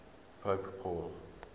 pope paul